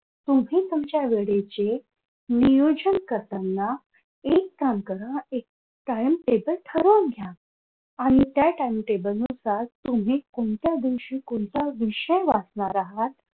तुम्ही तुमच्या वेळेचे नियोजन करताना एक काम करा एक कायम table ठरवून घ्या आणि त्या timetable नुसार तुम्ही कोणत्या दिवशी कोणता विषय वाचणार आहात